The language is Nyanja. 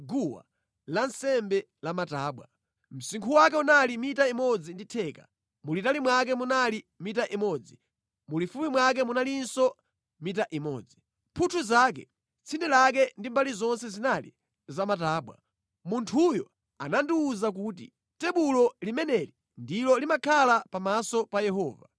guwa lansembe la matabwa. Msinkhu wake unali mita imodzi ndi theka, mulitali mwake munali mita imodzi, mulifupi mwake munalinso mita imodzi. Mphuthu zake, tsinde lake ndi mbali zonse zinali za matabwa. Munthuyo anandiwuza kuti, “Tebulo limeneli ndilo limakhala pamaso pa Yehova.”